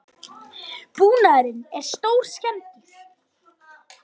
Búnaðurinn er stórskemmdur